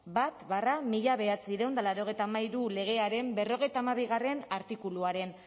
bat barra mila bederatziehun eta laurogeita hamairu legearen berrogeita hamabigarrena artikuluaren